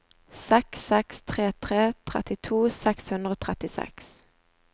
seks seks tre tre trettito seks hundre og trettiseks